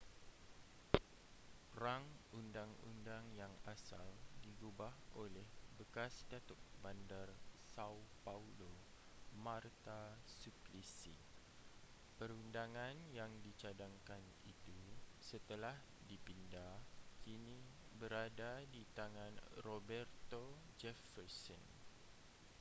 rang undang-undang yang asal digubal oleh bekas datuk bandar são paulo marta suplicy. perundangan yang dicadangkan itu setelah dipinda kini berada di tangan roberto jefferson